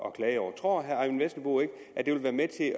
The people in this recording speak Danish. at klage over tror herre eyvind vesselbo ikke at det vil være med til